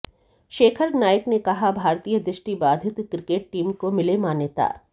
शेखर नाइक ने कहा भारतीय दृष्टिबाधित क्रिकेट टीम को मिले मान्यता